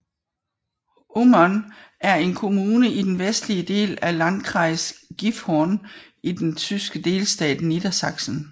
Ummern er en kommune i den vestlige del af Landkreis Gifhorn i den tyske delstat Niedersachsen